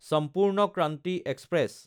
Sampoorna Kranti express